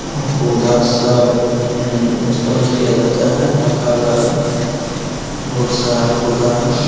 पौधा सब उम्म उत्पन्न किया जाता है रखा हुआ है बोहोत सारा पौधा है।